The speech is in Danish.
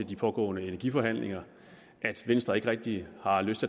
de pågående energiforhandlinger at venstre ikke rigtig har lyst